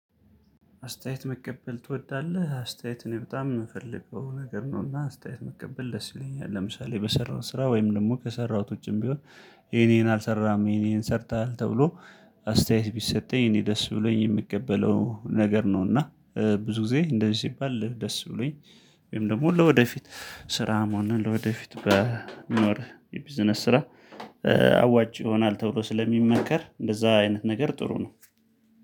አስተያየት መቀበል ትወዳለህ? አስተያየት እኔ በጣም የምፈልገው ነገር ነውና አስተያየት መቀበል ደስ ይለኛል ለምሳሌ በሰራሁት ስራ ወይም ደግሞ ከሰራሁት ውጪም ቢሆን ይሄን ይሄን አልሰራህም ይሄን ይሄን ሰርተሃል ተብሎ አስተያየት ቢሰጠኝ እኔ ደስ ብሎኝ የምቀበለው ነገር ነው እና ብዙ ጊዜ እንደዚህ ሲባል ደስ ብሎኝ ወይም ደግሞ ለወደፊት ስራም ሆነ ለወደፊት በሚኖር የቢዝነስ ስራ አዋጭ ይሆናል ተብሎ ስለሚመከር እንደዛ አይነት ነገር ጥሩ ነው